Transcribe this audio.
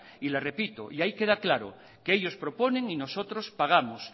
le repito y ahí queda claro que ellos proponen y nosotros pagamos